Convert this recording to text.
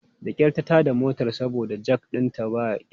Da kyar ta tada motar saboda jak ɗinta ba kyau.